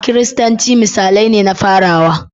Kiristanci misalai ne na farawa.